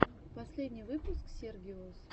последний выпуск сергиос